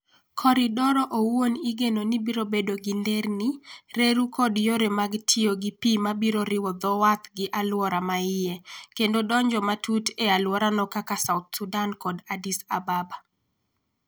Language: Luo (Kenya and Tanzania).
Koridoro owuon igeno ni biro bedo gi nderni, reru kod yore mag tiyo gi pi ma biro riwo dho wath gi alwora ma iye, kendo donjo matut e alworano kaka South Sudan kod Addis Ababa.